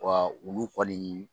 Wa ulu kɔni